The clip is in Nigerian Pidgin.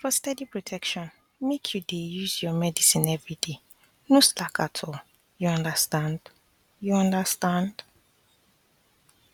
for steady protection make you dey use your medicine everyday no slack at all you understand you understand